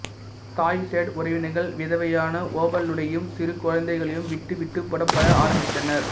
தாய்சியுடு உறவினர்கள் விதவையான ஓவலூனையும் சிறு குழந்தைகளையும் விட்டுவிட்டு புறப்பட ஆரம்பித்தனர்